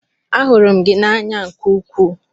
Ahụrụ m gị n'anya nke ukwuu.